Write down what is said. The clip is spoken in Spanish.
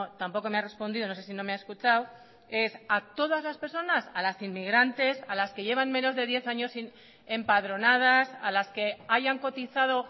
tampoco me ha respondido no sé si no me ha escuchado es a todas las personas a las inmigrantes a las que llevan menos de diez años empadronadas a las que hayan cotizado